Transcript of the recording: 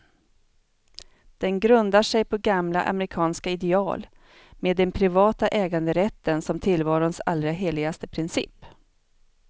Den grundar sig på gamla amerikanska ideal, med den privata äganderätten som tillvarons allra heligaste princip.